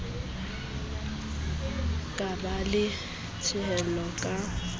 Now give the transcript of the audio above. ka ba le tiehiso ka